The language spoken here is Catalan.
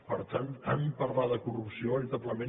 per tant tant parlar de corrupció veritablement